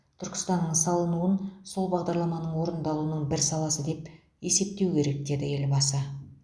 түркістанның салынуын сол бағдарламаның орындалуының бір саласы деп есептеу керек деді елбасы